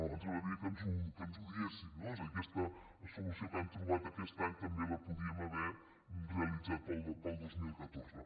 ens agradaria que ens ho diguessin no és a dir aquesta solució que han trobat aquest any també la podríem haver realitzat per al dos mil catorze